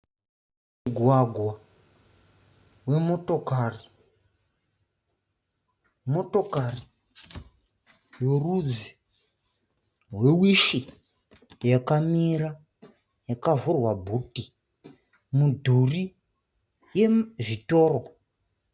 Mugwagwa wemotokari. Motokari yorudzi rwewishi yakamira yakavhurwa bhuti yakamira. Midhuri yezvitoro.